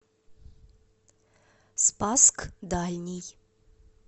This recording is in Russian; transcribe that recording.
спасск дальний